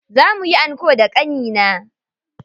Za muyi anko da ƙannena.